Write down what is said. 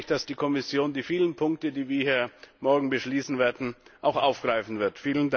Darum hoffe ich, dass die Kommission die vielen Punkte, die wir hier morgen beschließen werden, auch aufgreifen wird.